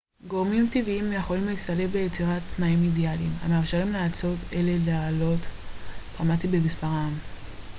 גורמים טבעיים יכולים להצטלב ליצירת תנאים אידאליים המאפשרים לאצות אלה לעלות דרמטית במספרן